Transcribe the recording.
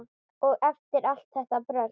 Og eftir allt þetta brölt!